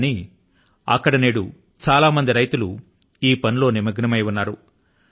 కానీ అక్కడ నేడు చాలా మంది రైతులు ఈ పనిలో నిమగ్నమై ఉన్నారు